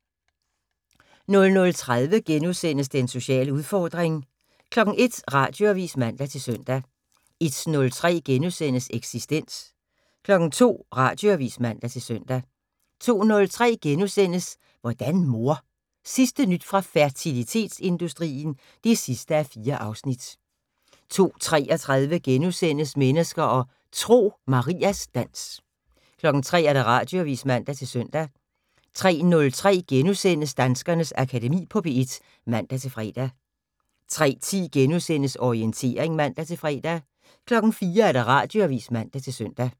00:30: Den sociale udfordring * 01:00: Radioavis (man-søn) 01:03: Eksistens * 02:00: Radioavis (man-søn) 02:03: Hvordan mor? Sidste nyt fra fertilitetsindustrien (4:4)* 02:33: Mennesker og Tro: Marias dans * 03:00: Radioavis (man-søn) 03:03: Danskernes Akademi på P1 *(man-fre) 03:10: Orientering *(man-fre) 04:00: Radioavis (man-søn)